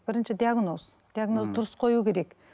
бірінші диагноз диагнозды дұрыс қою керек